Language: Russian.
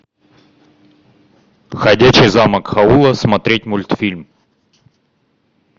ходячий замок хаула смотреть мультфильм